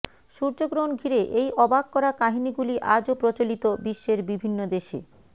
সূর্যগ্রহণ ঘিরে এই অবাক করা কাহিনিগুলি আজও প্রচলিত বিশ্বের বিভিন্ন দেশে